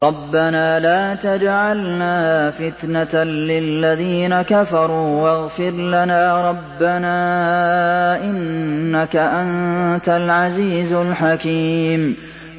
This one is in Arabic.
رَبَّنَا لَا تَجْعَلْنَا فِتْنَةً لِّلَّذِينَ كَفَرُوا وَاغْفِرْ لَنَا رَبَّنَا ۖ إِنَّكَ أَنتَ الْعَزِيزُ الْحَكِيمُ